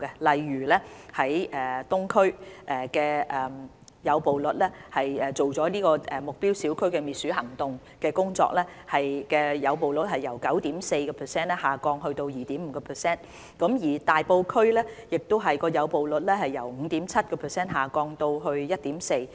例如東區的誘捕率，在進行了目標小區滅鼠行動工作後，誘捕率 9.4% 下降至 2.5%； 大埔區的誘捕率亦由 5.7% 下降至 1.4%。